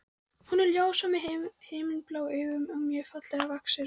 Hún er ljóshærð með himinblá augu og mjög fallega vaxin.